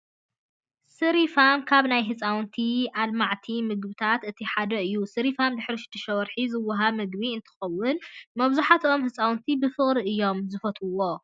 ሲሪፋም ካብ ናይ ህፃውንቲ ኣልማዕቲ ምግብታት እቲ ሓደ እዩ። ሲሪፋም ድሕሪ 6ተ ወርሒ ዝወሃብ ምግቢ እንትኸውን መብዛህቶኦም ህፃውንቲ ብፍቅሪ እዮም ዝፈትውዎ።